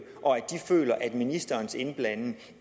og at de føler at ministerens indblanding